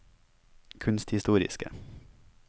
kunsthistoriske